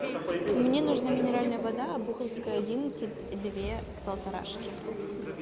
мне нужна минеральная вода обуховская одиннадцать две полторашки